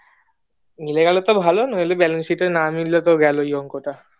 মিলে গেলো তো ভালো নইলে balance sheet না মিললে তো গেলোই অংকটা